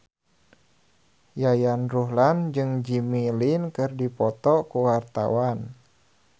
Yayan Ruhlan jeung Jimmy Lin keur dipoto ku wartawan